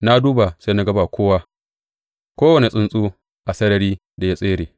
Na duba, sai na ga ba kowa; kowane tsuntsu a sarari da ya tsere.